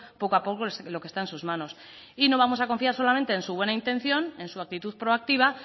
poco a poco lo que está en sus manos y no vamos a confiar solamente en su buena intención en su actitud proactiva